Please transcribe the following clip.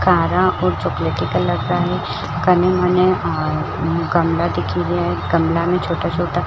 काला और चॉकलेटी कलर का है कनि मने गमला दिखि रैयो है गमला में छोटा छोटा--